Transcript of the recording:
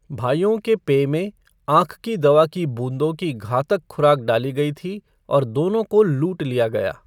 भाइयों के पेय में आँख की दवा की बूंदों की घातक खुराक डाली गई थी और दोनों को लूट लिया गया।